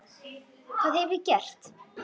Hvað hef ég gert?.